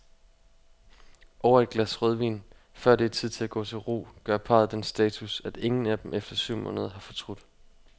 Over et glas rødvin, før det er tid at gå til ro, gør parret den status, at ingen af dem efter syv måneder har fortrudt.